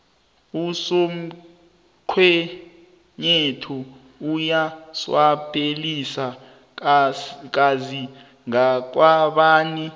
usomkhwenyethu uyaswapelisa kazi ngakwabani